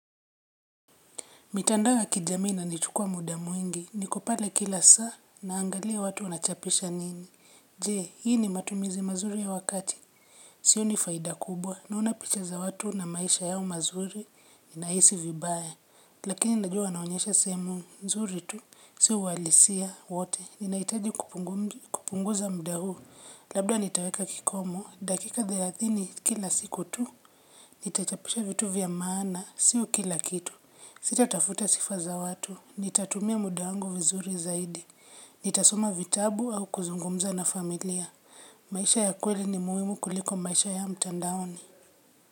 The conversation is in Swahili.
Mitandao ya kijamii inanichukua muda mwingi niko pale kila saa naangalia watu wanachapisha nini. Je, hii ni matumizi mazuri ya wakati. Sioni faida kubwa naona picha za watu na maisha yao mazuri ninaisi vibaya. Lakini najua wanaonyesha sehemu, nzuri tu, si uwalisia, wote, ninaitaji kupunguza mda huu. Labda nitaweka kikomo, dakika thelathini kila siku tu, nitachapisha vitu vya maana, sio kila kitu. Sita tafuta sifa za watu. Nitatumia muda wangu vizuri zaidi. Nitasoma vitabu au kuzungumza na familia. Maisha ya kweli ni muhimu kuliko maisha ya mtandaoni.